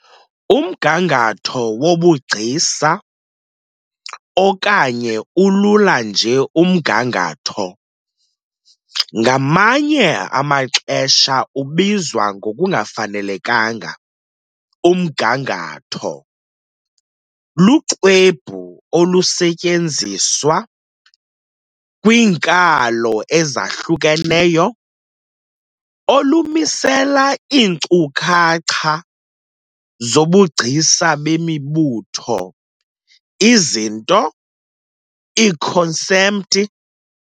Umgangatho wobugcisa, okanye ulula nje umgangatho, ngamanye amaxesha ubizwa ngokungafanelekanga "umgangatho", luxwebhu, olusetyenziswa kwiinkalo ezahlukeneyo, olumisela iinkcukacha zobugcisa bemibutho, izinto, iikhonsepthi.